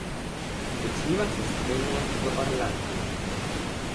Začniva s streljanjem v Orlandu.